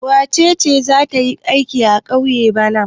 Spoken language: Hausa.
Wace ce za ta yi aiki a ƙauye bana?